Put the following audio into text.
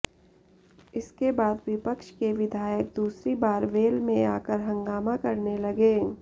इसके बाद विपक्ष के विधायक दूसरी बार वेल में आकर हंगामा करने लगे